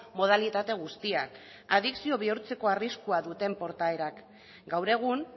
modalitate guztiak adikzio bihurtzeko arriskua duten portaerak gaur egun